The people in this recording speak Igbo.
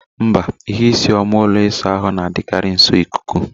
Mba, ihe isii oma ụlọ ịsa ahụ na-adịkarị nso ikuku.